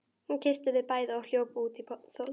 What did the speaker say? Hún kyssti þau bæði og hljóp út í þokuna.